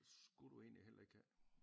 Skulle du egentlig heller ikke have